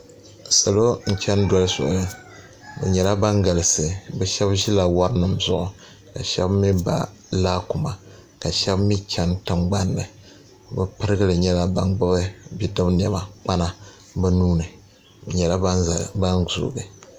Salo n cheni doli soli bɛ nyɛla ban galisi sheba ʒila worinima zuɣu ka sheba mee ba laakuma ka sheba mee cheni tingbanni bɛ pirigili nyɛla ban gbibi bidib'niɛma kpana bɛ nuuni bɛ nyɛla ban zoogi.